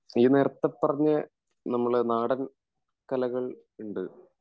ഈ നേരത്തെ പറഞ്ഞ നമ്മടെ നാടൻ കലകൾ ഇണ്ട്